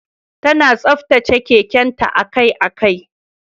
Tana tsaftace keken ta akai-akai.